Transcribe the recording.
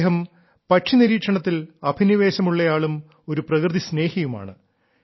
അദ്ദേഹം പക്ഷിനിരീക്ഷണത്തിൽ അഭിനിവേശമുള്ളയാളും ഒരു പ്രകൃതി സ്നേഹിയുമാണ്